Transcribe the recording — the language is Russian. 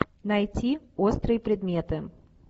найти острые предметы